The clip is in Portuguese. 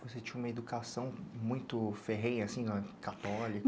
Você tinha uma educação muito ferrenha, assim, católica?